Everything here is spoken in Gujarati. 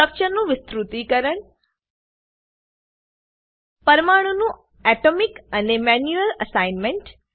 સ્ટ્રક્ચરનું વિસ્તૃતીકરણ પરમાણુનું ઓટોમેટિક અને મેન્યુઅલ અસાઇનમેન્ટ